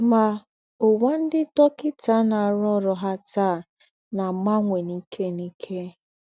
Mà, úwà ńdị́ dọ́kịtà nọ́ árụ́ọ̀rụ̀ ha tàa ná-àgbànwè n’íkè n’íkè.